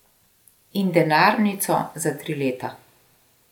In denarnico za tri leta.